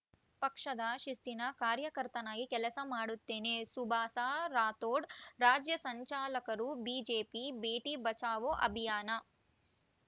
ಪಕ್ಷದ ಶಿಸ್ತಿನ ಕಾಯಕರ್ತನಾಗಿ ಕೆಲಸ ಮಾಡುತ್ತೇನೆ ಸುಭಾಸ ರಾಠೋಡ ರಾಜ್ಯ ಸಂಚಾಲಕರು ಬಿಜೆಪಿ ಬೇಟಿ ಬಚಾವೋ ಅಭಿಯಾನ